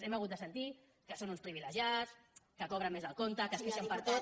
hem hagut de sentir que són uns privilegiats que cobren més del compte que es queixen per tot